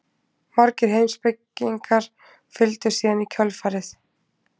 Margir heimspekingar fylgdu síðan í kjölfarið.